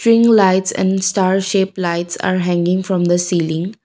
lights and star shaped lights are hanging from the ceiling.